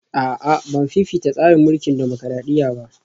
A'a Ban fifita tsarin mulkin dimokradiyya ba